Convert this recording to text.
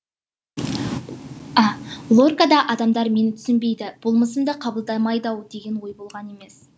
лорка да адамдар мені түсінбейді болмысымды қабылдамайды ау деген ой болған емес